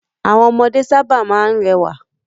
Àwọn ọmọdé sábà máa ń rẹwà.